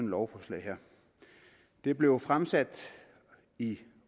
lovforslag her det blev fremsat i